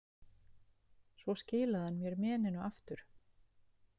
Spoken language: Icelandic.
Svo skilaði hann mér meninu aftur.